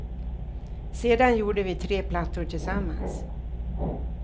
Sedan gjorde vi tre plattor tillsammans.